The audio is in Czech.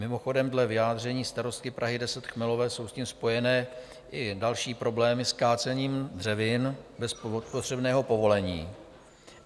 Mimochodem, dle vyjádření starostky Prahy 10 Chmelové jsou s tím spojeny i další problémy s kácením dřevin bez potřebného povolení.